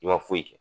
I ma foyi kɛ